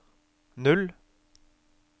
null